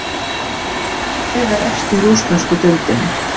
Hvaða lið er efst í rússnesku deildinni?